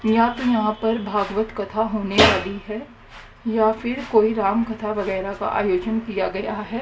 या तो यहां पर भागवत कथा होने वाली है या फिर कोई राम कथा वगैरह का आयोजन किया गया है।